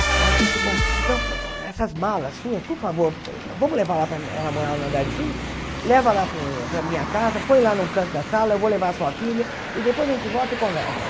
Ela disse, bom, então essas malas suas, por favor, vamos levar lá para ela morava no andar de cima, leva lá para o para a minha casa, põe lá no canto da sala, eu vou levar a sua filha e depois a gente volta e conversa.